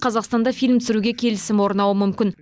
қазақстанда фильм түсіруге келісім орнауы мүмкін